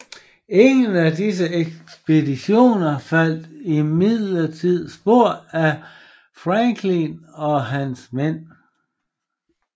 Ingen af disse ekspeditioner fandt imidlertid spor af Franklin og hans mænd